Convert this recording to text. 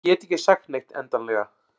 En ég get ekki sagt neitt endanlega.